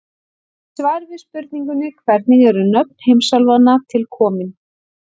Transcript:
Í svari við spurningunni Hvernig eru nöfn heimsálfanna til komin?